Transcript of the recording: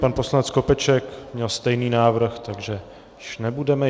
Pan poslanec Skopeček měl stejný návrh, takže již nebudeme...